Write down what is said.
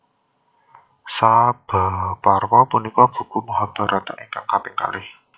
Sabhaparwa punika buku Mahabharata ingkang kaping kalih